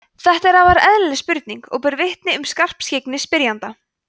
þetta er afar eðlileg spurning og ber vitni um skarpskyggni spyrjanda